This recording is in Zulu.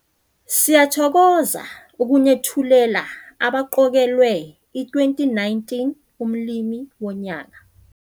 Siyathokoza ukunethulela abaqokelwe i-2019 Umlimi woNyaka.